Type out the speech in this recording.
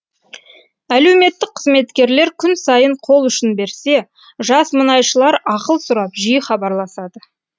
әлеуметтік қызметкерлер күн сайын қолұшын берсе жас мұнайшылар ақыл сұрап жиі хабарласады